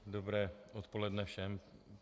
Dobré odpoledne všem.